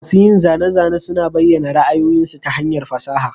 Masun yin zane-zane suna bayyana ra'ayoyinsu ta hanyar fasaha.